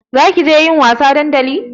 Zakije yin wasa a dandali?